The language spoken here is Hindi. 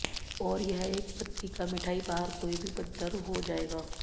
और यह एक पत्रिका मिठाई बाहर कोई भी बदतर हो जाएगा